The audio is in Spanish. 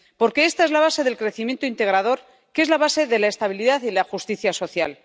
Porque esta es la base del crecimiento integrador que es la base de la estabilidad y la justicia social.